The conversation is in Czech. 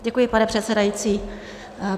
Děkuji, pane předsedající.